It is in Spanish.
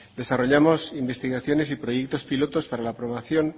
desarrollamos investigaciones y proyectos pilotos para la aprobación